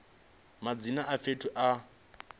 madzina a fhethu a welaho